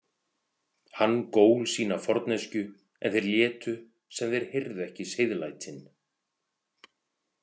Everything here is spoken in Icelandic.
Hann gól sína forneskju en þeir létu sem heyrðu ekki seiðlætin.